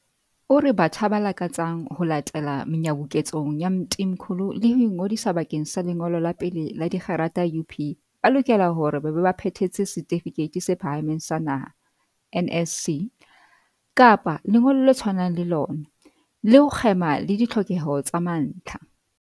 O re batjha ba lakatsang ho latela menyabuketsong ya Mthimkhulu le ho ingodisa bakeng sa lengolo la pele la dikgerata UP ba lokela hore ba be ba phethetse Setifikeiti se Phahameng sa Naha, NSC, kapa lengolo le tshwanang le lona, le ho kgema le ditlhokeho tsa mantlha.